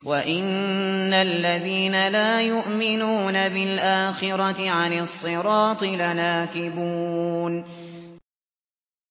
وَإِنَّ الَّذِينَ لَا يُؤْمِنُونَ بِالْآخِرَةِ عَنِ الصِّرَاطِ لَنَاكِبُونَ